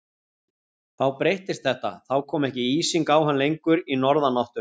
Þá breyttist þetta, þá kom ekki ísing á hann lengur í norðanáttunum.